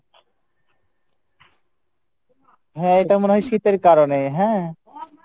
হ্যাঁ এটা মনে হয় শীতের কারনে হ্যাঁ।